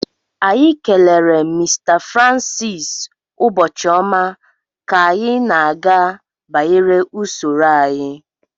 Anyị kelere Mr francis ụbọchị ọma ka anyị na-aga banyere usoro anyị